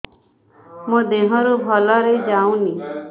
ମୋ ଦିହରୁ ଭଲରେ ଯାଉନି